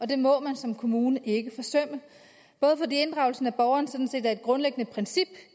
det må man som kommune ikke forsømme både fordi inddragelsen af borgeren sådan set er et grundlæggende princip